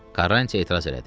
Karranti etiraz elədi.